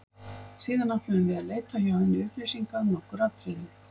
Síðan ætluðum við að leita hjá henni upplýsinga um nokkur atriði.